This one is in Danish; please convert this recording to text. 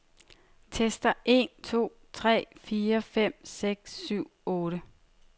Tester en to tre fire fem seks syv otte.